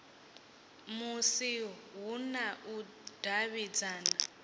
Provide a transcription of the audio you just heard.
musi hu na u davhidzana